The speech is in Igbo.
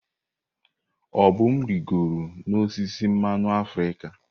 Obum rịgoro n'osisi mmanụ africa.